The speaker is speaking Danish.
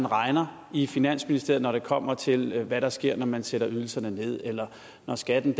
regner i finansministeriet når det kommer til hvad der sker når man sætter ydelserne ned eller når skatten